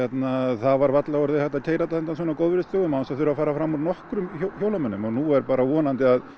það var varla orðið hægt að keyra þetta á góðviðrisdögum án þess að fara fram úr nokkrum hjólamönnum og nú er bara að vonandi að